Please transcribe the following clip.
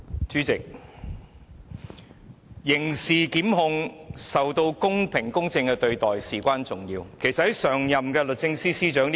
主席，刑事檢控是必須公平公正處理的工作，此事至關重要。